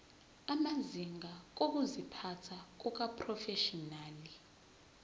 amazinga okuziphatha kumaprofeshinali